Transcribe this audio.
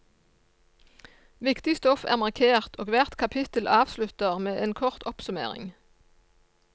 Viktig stoff er markert og hvert kapittel avslutter med en kort oppsummering.